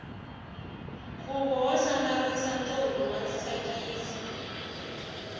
khuvo wo hlamisa ntombi wa tsakisa